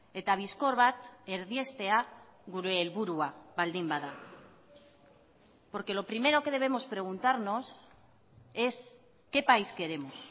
eta bizkor bat erdiestea gure helburua baldin bada porque lo primero que debemos preguntarnos es qué país queremos